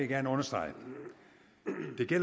gerne understrege